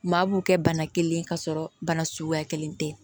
Maa b'u kɛ bana kelen ka sɔrɔ bana suguya kelen tɛ